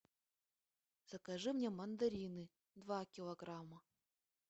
закажи мне мандарины два килограмма